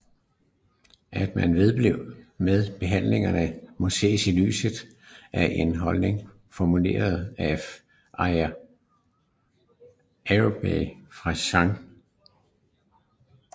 At man vedblev med behandlingerne må ses i lyset af en holdning formuleret af Arild Faurbye fra Sct